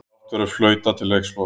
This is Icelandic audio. Brátt verður flautað til leiksloka